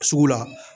Sugu la